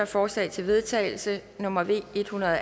forslag til vedtagelse nummer v en hundrede og